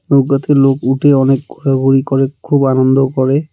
নৌকাতে লোক উঠে অনেক হুরাহুরি করে খুব আনন্দও করে .